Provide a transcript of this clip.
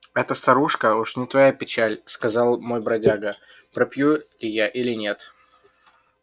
эта старушка уж не твоя печаль сказал мой бродяга пропью ли я или нет